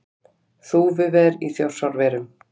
Þúfuver í Þjórsárverum.